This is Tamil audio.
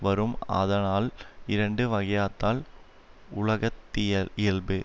வரும் ஆதலால் இரண்டு வகையாதால் உலக இயல்பு